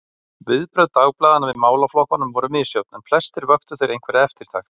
Viðbrögð dagblaðanna við málaflokkunum voru misjöfn, en flestir vöktu þeir einhverja eftirtekt.